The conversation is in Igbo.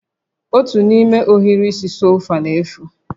Otu n'ime ohiri isi sofa na-efu